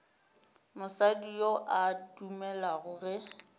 mosadi yo a dumelago ge